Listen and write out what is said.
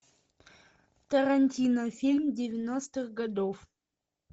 тарантино фильм девяностых годов